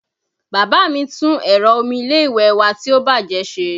Bàbá mi tún ẹ̀rọ omi ilé ìwẹ̀ wa tí ó bájẹ̀ ṣe